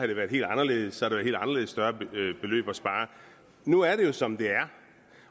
det været helt anderledes og været helt anderledes større beløb at spare nu er det jo som det er